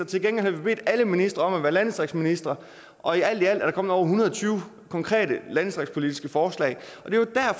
til gengæld har bedt alle ministre om at være landdistriktsministre alt i alt er der kommet over en hundrede og tyve konkrete landdistriktspolitiske forslag